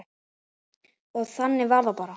Og þannig var það bara.